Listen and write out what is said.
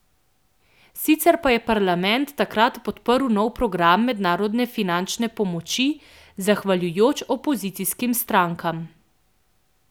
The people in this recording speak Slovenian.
Sicer pa je parlament takrat podprl nov program mednarodne finančne pomoči, zahvaljujoč opozicijskim strankam.